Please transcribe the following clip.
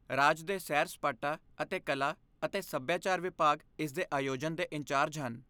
ਰਾਜ ਦੇ ਸੈਰ ਸਪਾਟਾ ਅਤੇ ਕਲਾ ਅਤੇ ਸੱਭਿਆਚਾਰ ਵਿਭਾਗ ਇਸ ਦੇ ਆਯੋਜਨ ਦੇ ਇੰਚਾਰਜ ਹਨ।